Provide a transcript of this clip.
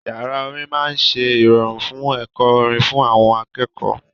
Yàrá orin máa ń ṣe ìrọ̀rùn fún ẹ̀kọ́ orin fún àwọn akẹ́kọ̀ọ́.